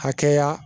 Hakɛya